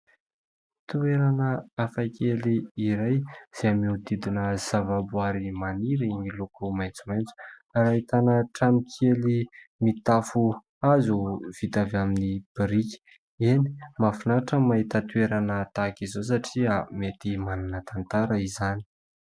Toerana hafa kely iray izay mihodidina zavaboaary maniry miloko maitsomaiotso ary ahitana trano kely mitafo hazo vita avy amin'ny biriky. Eny, mahafinaritra ny mahita toerana tahak'izao satria mety manana tantara izany.